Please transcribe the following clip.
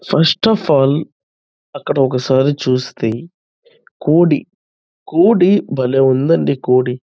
first of all అక్కడ ఒక సారి చూస్తే కోడి కోడి బలే ఉందండి కోడి --